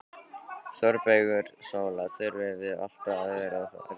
ÞÓRBERGUR: Sóla, þurfum við alltaf að vera að rífast?